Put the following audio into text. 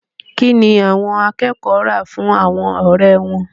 Kí ni àwọn akẹ́kọ̀ọ́ rà fún àwọn ọ̀rẹ́ wọn?